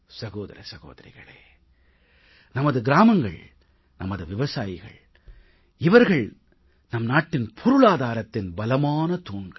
சகோதர சகோதரிகளே நமது கிராமங்கள் நமது விவசாயிகள் இவர்கள் நம் நாட்டின் பொருளாதாரத்தின் பலமான தூண்கள்